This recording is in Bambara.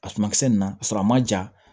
A suma kisɛ nin na ka sɔrɔ a ma ja